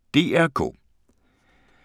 DR K